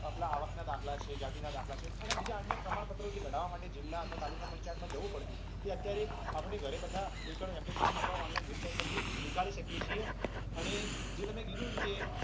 આવક ના દાખલા છે જાતિના દાખલા છે અને બીજા અન્ય પ્રમાણ પત્ર કાઢવા માટે જીલ્લા અથવા તાલુકા પંચાયત જવું પડતું એ અત્યારે ઘરે બેઠા online website પરથી નીકળી શકીએ છીએ અને જે તમે કીધું કે